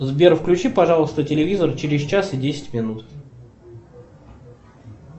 сбер включи пожалуйста телевизор через час и десять минут